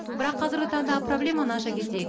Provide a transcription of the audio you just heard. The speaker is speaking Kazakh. бірақ қазіргі таңдағы проблеманы аша кетейін